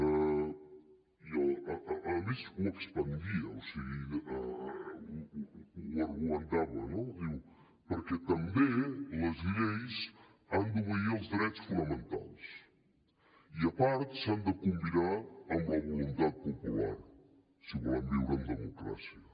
a més ho expandia o sigui ho argumentava no diu perquè també les lleis han d’obeir els drets fonamentals i a part s’han de combinar amb la voluntat popular si volem viure en democràcia